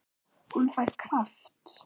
Hún fær kraft.